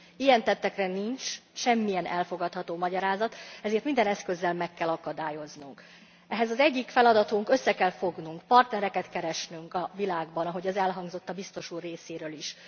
Ilyen tettekre nincs semmilyen elfogadható magyarázat, ezért minden eszközzel meg kell akadályoznunk őket. Ehhez az egyik feladatunk össze kell fognunk, partnereket kell keresnünk a világban, ahogy az elhangzott a biztos úr részéről is.